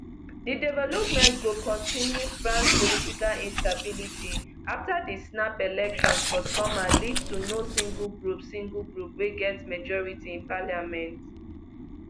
di development go kontinu france political instability afta di snap elections for summer lead to no single group single group wey get majority in parliament